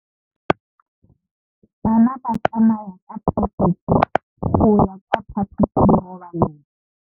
Bana ba tsamaya ka phašitshe go ya kwa phaposiborobalong.